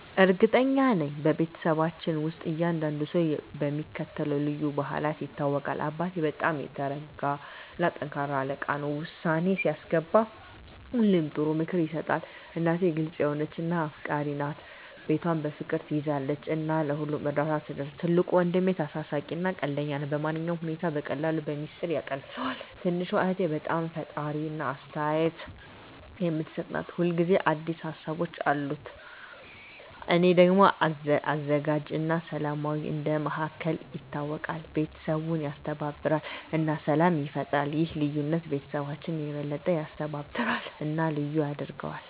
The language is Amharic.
እርግጠኛ ነኝ፤ በቤተሰባችን ውስጥ እያንዳንዱ ሰው በሚከተሉት ልዩ ባህሪያት ይታወቃል - አባቴ በጣም የተረጋ እና ጠንካራ አለቃ ነው። ውሳኔ ሲያስገባ ሁሌ ጥሩ ምክር ይሰጣል። እናቴ ግልጽ የሆነች እና አፍቃሪች ናት። ቤቷን በፍቅር ትያዘው እና ለሁሉም እርዳታ ትደርሳለች። ትልቁ ወንድሜ ተሳሳቂ እና ቀልደኛ ነው። ማንኛውንም ሁኔታ በቀላሉ በሚስጥር ያቃልለዋል። ትንሹ እህቴ በጣም ፈጣሪ እና አስተያየት የምትሰጥ ናት። ሁል ጊዜ አዲስ ሀሳቦች አሉት። እኔ ደግሞ አዘጋጅ እና ሰላማዊ እንደ መሃከል ይታወቃለሁ። ቤተሰቡን ያስተባብራል እና ሰላም ይፈጥራል። ይህ ልዩነት ቤተሰባችንን የበለጠ ያስተባብራል እና ልዩ ያደርገዋል።